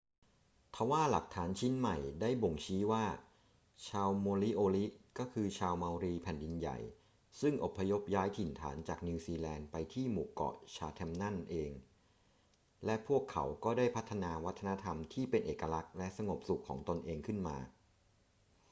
ทว่าหลักฐานชิ้นใหม่ได้บ่งชี้ว่าชาวโมริโอริก็คือชาวเมารีแผ่นดินใหญ่ซึ่งอพยพย้ายถิ่นฐานจากนิวซีแลนด์ไปที่หมู่เกาะชาแธมนั่นเอง และพวกเขาก็ได้พัฒนาวัฒนธรรมที่เป็นเอกลักษณ์และสงบสุขของตนเองขึ้นมา